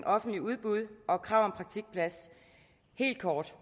offentlige udbud og krav om praktikplads helt kort